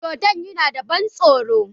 Dodon yana da ban tsoro